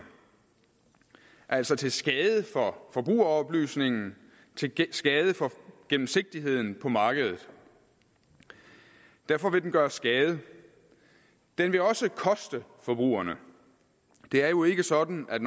altså til skade for forbrugeroplysningen til skade for gennemsigtigheden på markedet derfor vil den gøre skade den vil også koste forbrugerne det er jo ikke sådan at